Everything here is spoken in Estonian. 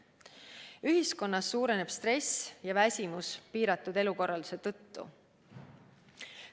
Ühiskonnas suureneb stress ja väsimus piiratud elukorralduse tõttu.